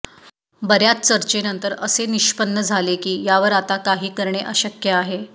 बऱ्याच चर्चेनंतर असे निष्पन्न झाले की यावर आता काही करणे अशक्य आहे